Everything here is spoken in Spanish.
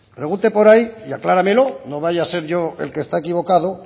pregunte por ahí y acláramelo no vaya a ser yo el que está equivocado